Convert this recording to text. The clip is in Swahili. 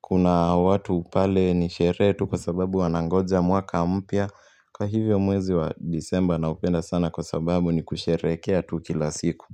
kuna watu pale ni sherehe tu kwa sababu wanangoja mwaka mpya. Kwa hivyo mwezi wa disemba naupenda sana kwa sababu ni kusherehekea tu kila siku.